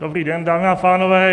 Dobrý den, dámy a pánové.